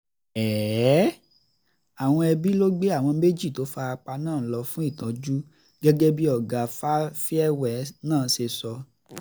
àwọn ẹbí ló gbé àwọn méjì tó fara pa náà lọ fún ìtọ́jú gẹ́gẹ́ bí ọ̀gá farrell náà ṣe sọ